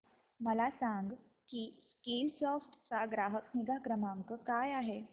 मला सांग की स्कीलसॉफ्ट चा ग्राहक निगा क्रमांक काय आहे